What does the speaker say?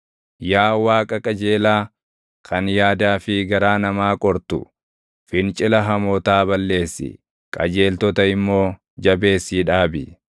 Yaa Waaqa qajeelaa, kan yaadaa fi garaa namaa qortu, fincila hamootaa balleessi; qajeeltota immoo jabeessii dhaabi.